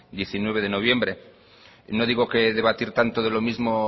diecinueve de noviembre no digo que debatir tanto de lo mismo